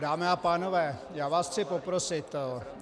Dámy a pánové, já vás chci poprosit.